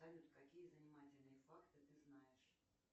салют какие занимательные факты ты знаешь